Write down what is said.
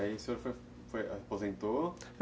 E aí o senhor aposentou?